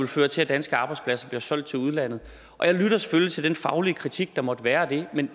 føre til at danske arbejdspladser bliver solgt til udlandet jeg lytter selvfølgelig til den faglige kritik der måtte være af det men